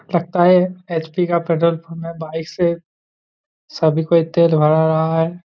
लगता है एच.पी. का पेट्रोल पंप है बाइक से सभी कोई तेल भरा रहा है।